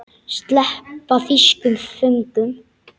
Sleppa þýskum föngum?